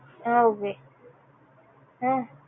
ஆஹ் உம்